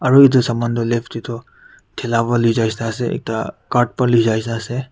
Aru edu saman du left de tu thela para lui jai nishena ase ekta cart pra lui jai nishena ase.